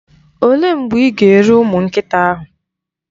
Olee mgbe ị ga-ere ụmụ nkịta ahụ?